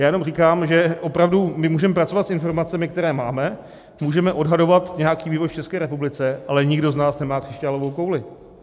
Já jenom říkám, že opravdu my můžeme pracovat s informacemi, které máme, můžeme odhadovat nějaký vývoj v České republice, ale nikdo z nás nemá křišťálovou kouli.